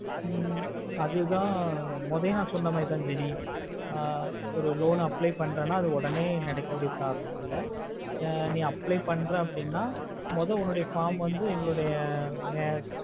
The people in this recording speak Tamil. ஹ்ம் அதுத மொடலையே ந சொன்ன மாதிரிதான் jeni ஆஹ் ஒரு loan apply பன்றேனா அது ஒடனே நடக்க கூடிய process ல நீ apply பண்றேன் அப்புடின்னா மொத உன்னுடைய form வந்து எங்களுடைய